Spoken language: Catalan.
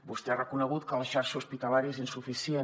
vostè ha reconegut que la xarxa hospitalària és insuficient